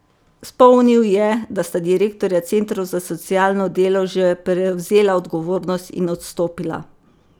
Spomnil je, da sta direktorja centrov za socialno delo že prevzela odgovornost in odstopila.